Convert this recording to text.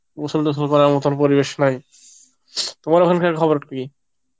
প্রচন্ড মোতো পরিবেশ নাই, তোমার ওখানকার খবর কি